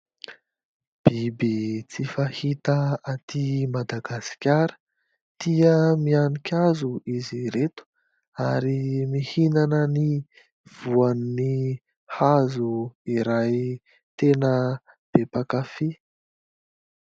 Biby tsy fahita aty Madagasikara, tia mihanika hazo izy ireto ary mihinana ny voan'ny hazo iray. Tena be mpakafy !